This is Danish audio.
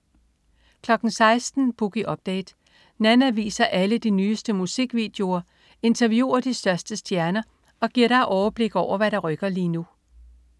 16.00 Boogie Update. Nanna viser alle de nyeste musikvideoer, interviewer de største stjerner og giver dig overblik over, hvad der rykker lige nu